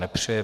Nepřeje.